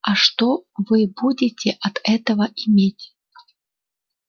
а что вы будете от этого иметь